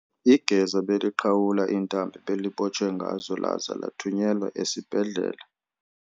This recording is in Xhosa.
Igeza beliqhawula iintambo ebelibotshwe ngazo laza lathunyelwa esibhedlele.